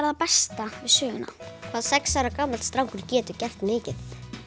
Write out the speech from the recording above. það besta við söguna hvað sex ára gamall strákur getur gert mikið